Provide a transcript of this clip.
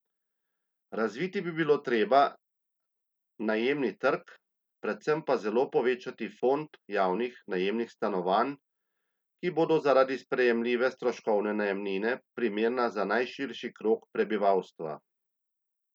Razviti bi bilo treba najemni trg, predvsem pa zelo povečati fond javnih najemnih stanovanj, ki bodo zaradi sprejemljive stroškovne najemnine primerna za najširši krog prebivalstva.